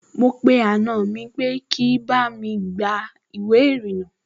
Mo pe àna mi pé kí bá mi gba ìwé ìrìnnà